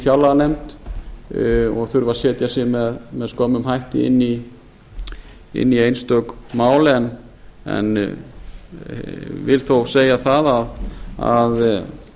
fjárlaganefnd og þurfa að setja sig með skömmum hætti inn í einstök mál en vil þó segja það að